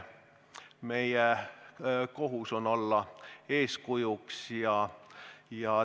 Meie kohus on olla eeskujuks.